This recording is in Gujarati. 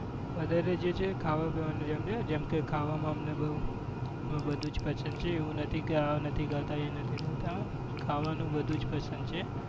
વધારે જે છે ખાવા પીવાનું છે જેમ કે ખાવામાં અમને બહુ પસંદ છે એવું નથી કે આ નથી ખાતા એ નથી ખાતા ખાવાનું બધું જ પસંદ છે.